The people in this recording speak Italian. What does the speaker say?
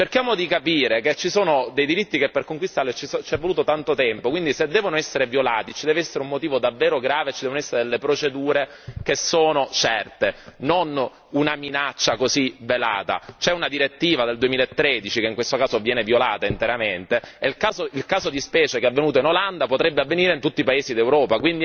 Cerchiamo di capire che ci sono dei diritti che per conquistarli c'è voluto tanto tempo quindi, se devono essere violati, ci deve essere un motivo davvero grave e ci devono essere le procedure certe, non una minaccia velata. C'è una direttiva del 2013, che in questo caso viene violata interamente, e il caso di specie che è avvenuto in Olanda potrebbe avvenire in tutti i paesi d'Europa.